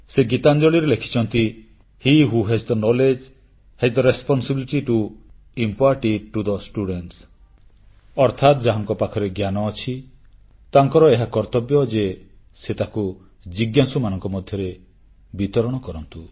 ସେ ଗୀତାଞ୍ଜଳିରେ ଲେଖିଛନ୍ତି he who has the knowledge has the responsibility to impart it to the students ଅର୍ଥାତ୍ ଯାହାଙ୍କ ପାଖରେ ଜ୍ଞାନ ଅଛି ତାଙ୍କର ଏହା କର୍ତ୍ତବ୍ୟ ଯେ ସେ ତାଙ୍କୁ ଜିଜ୍ଞାସୁମାନଙ୍କ ମଧ୍ୟରେ ବିତରଣ କରନ୍ତୁ